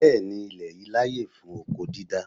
Bẹẹni, ilè yìí láyè fún oko dídá.